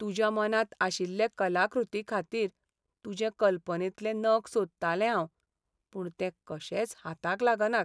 तुज्या मनांत आशिल्ले कलाकृतीखातीर तुजे कल्पनेंतले नग सोदतालें हांव, पूण ते कशेच हाताक लागनात.